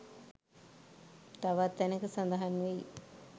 තවත් තැනක සඳහන් වෙයි.